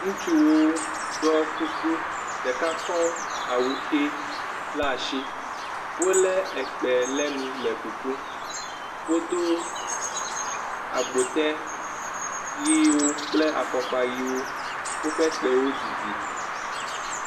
Ŋutsuwo ɖɔ kuku. Ɖeka kɔ awu ʋe laa shi. Wolé ekpẽ lé nu le kukum. Wodo agbotɛ yeewo kple afɔkpa yeewo. Woƒe kpewo didi.